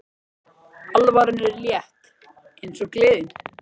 Alvaran er létt eins og gleðin.